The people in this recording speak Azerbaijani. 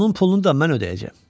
Onun pulunu da mən ödəyəcəyəm.